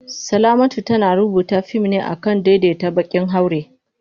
Salamatu tana rubuta fim ne kan daidaita baƙin haure.